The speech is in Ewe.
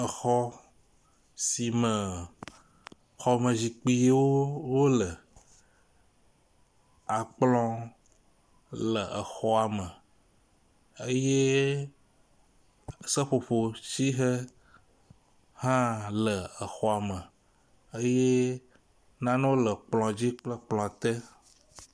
Exɔ si me xɔmezikpuiwo wole. Akplɔ le exɔa me eye seƒoƒo si he hã le exɔa me eye nanewo le kplɔ dzi kple kplɔ te.